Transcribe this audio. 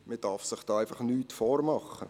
Man darf sich hier nichts vormachen.